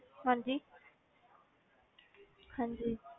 ਹਾਂਜੀ ਹਾਂਜੀ